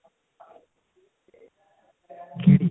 ਕਿਹੜੀ